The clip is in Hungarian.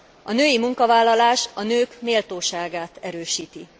A női munkavállalás a nők méltóságát erősíti.